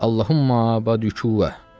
Allahummə.